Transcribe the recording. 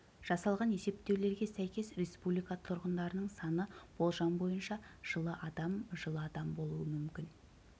жасалған есептеулерге сәйкес республика тұрғындарының саны болжам бойынша жылы адам жылы адам болуы мүмкін